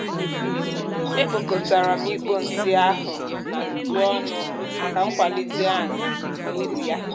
e kpòkòtàrà m ikpo nsị áhù nà ntụ ọ́nụ́ màkà nkwàlítè anì na úrù ya